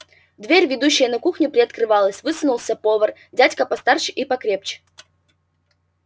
дверь ведущая на кухню приоткрывалась высунулся повар дядька постарше и покрепче